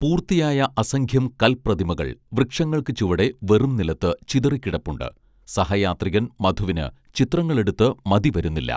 പൂർത്തിയായ അസംഖ്യം കൽപ്രതിമകൾ വൃക്ഷങ്ങൾക്ക് ചുവടെ വെറുംനിലത്ത് ചിതറിക്കിടപ്പുണ്ട് സഹയാത്രികൻ മധുവിന് ചിത്രങ്ങളെടുത്ത് മതിവരുന്നില്ല